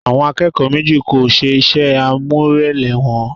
Àwọn akẹ́kọ̀ọ́ méjì kò ṣe iṣẹ́ àmúrelé wọn